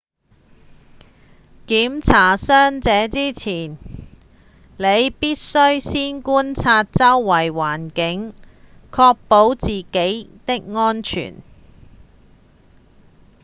檢查傷者之前你必須先觀察周邊環境確保自己的安全